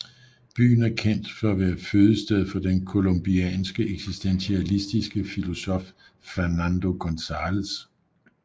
Byen er kendt for at være fødested for den colombianske eksistentialistiske filosof Fernando González